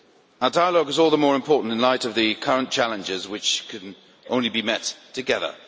Our dialogue is all the more important in light of the current challenges, which can only be met together.